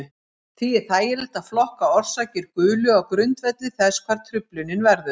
Því er þægilegt að flokka orsakir gulu á grundvelli þess hvar truflunin verður.